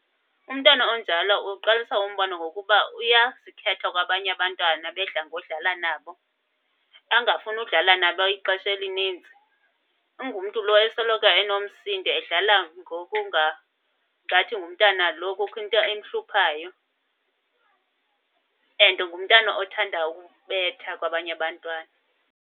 Umntwana onjalo uqalisa umbona ngokuba uyazikhetha kwabanye abantwana ebedla ngodlala nabo, angafuni udlala nabo ixesha elininzi. Ungumntu lo esoloko enomsindo edlala ngathi ngumntana lo kukho into emhluphayo. And ngumntana othanda ukubetha kwabanye abantwana.